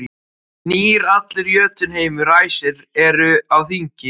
Gnýr allur Jötunheimur, æsir eru á þingi.